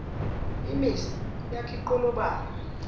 imhsi yakha inqolobane